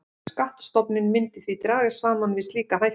Skattstofninn myndi því dragast saman við slíka hækkun.